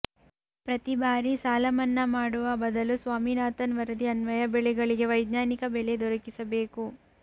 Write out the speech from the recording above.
ಪ್ರತಿ ಬಾರಿ ಸಾಲ ಮನ್ನಾ ಮಾಡುವ ಬದಲು ಸ್ವಾಮಿನಾಥನ್ ವರದಿ ಅನ್ವಯ ಬೆಳೆಗಳಿಗೆ ವೈಜ್ಞಾನಿಕ ಬೆಲೆ ದೊರಕಿಸಬೇಕು